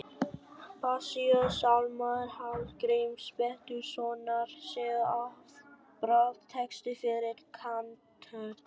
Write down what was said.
Passíusálmar Hallgríms Péturssonar séu afbragðs texti fyrir kantötu.